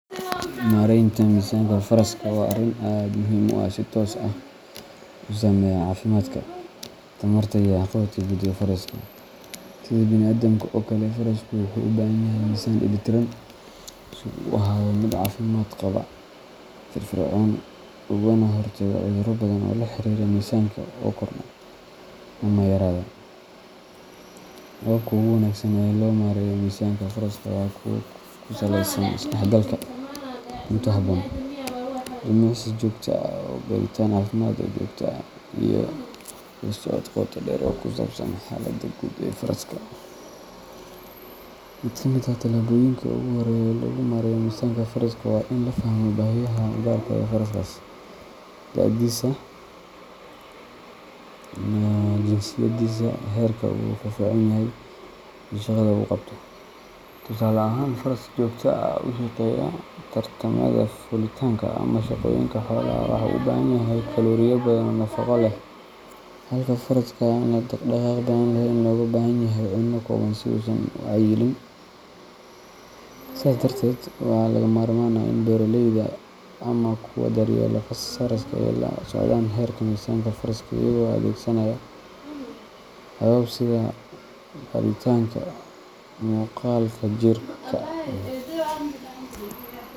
Maareynta miisanka faraska waa arrin aad muhiim u ah oo si toos ah u saameeya caafimaadka, tamarta, iyo waxqabadka guud ee faraska. Sida bini’aadamka oo kale, farasku wuxuu u baahan yahay miisaan dheellitiran si uu u ahaado mid caafimaad qaba, firfircoon, ugana hortago cudurro badan oo la xiriira miisaanka oo kordha ama yaraada. Hababka ugu wanaagsan ee loo maareeyo miisaanka faraska waa kuwa ku saleysan is-dhexgalka cunto habboon, jimicsi joogto ah, baaritaan caafimaad oo joogto ah, iyo la socod qoto dheer oo ku saabsan xaaladda guud ee faraska. Mid ka mid ah talaabooyinka ugu horreeya ee lagu maareeyo miisanka faraska waa in la fahmo baahiyaha gaarka ah ee faraskaas: da'diisa, jinsiyadiisa, heerka uu firfircoon yahay, iyo shaqada uu qabto. Tusaale ahaan, faras si joogto ah u shaqeeya tartamada, fuulitaanka, ama shaqooyinka xoolaha wuxuu u baahan yahay kalooriyo badan oo nafaqo leh, halka faraska aan dhaqaaq badan lahayn looga baahan yahay cunno kooban si uusan u cayilin. Sidaas darteed, waa lagama maarmaan in beeraleyda ama kuwa daryeela faraska ay la socdaan heerka miisaanka faraska iyagoo adeegsanaya habab sida baadhitaanka muuqaalka jirka.